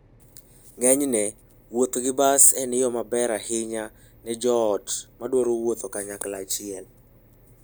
Ng'enyne, wuotho gi bas en yo maber ahinya ne joot madwaro wuotho kanyachiel.